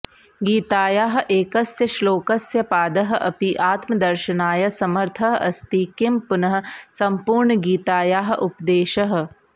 गीतायाः एकस्य श्लोकस्य पादः अपि आत्मदर्शनाय समर्थः अस्ति किं पुनः सम्पूर्णगीतायाः उपदेशः